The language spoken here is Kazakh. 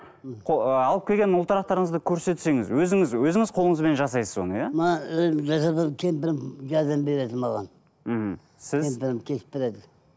мхм ыыы алып келген ұлтарақтарыңызды көрсетсеңіз өзіңіз өзіңіз қолыңызбен жасайсыз оны иә мына кемпірім жәрдем береді маған мхм сіз кемпірім кесіп береді